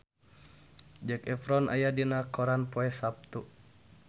Zac Efron aya dina koran poe Saptu